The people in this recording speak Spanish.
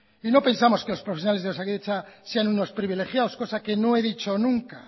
y no pensamos que los profesionales de osakidetza sean unos privilegiados cosa que no he dicho nunca